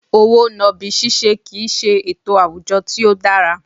Owó nàbì ṣiṣẹ́ kì í ṣe ètò àwùjọ tí ó dára